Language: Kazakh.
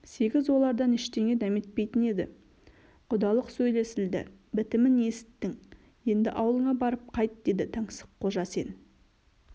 сегіз олардан ештеңе дәметпейтін еді құдалық сөйлесілді бітімін есіттің енді ауылыңа барып қайт деді таңсыққожа сен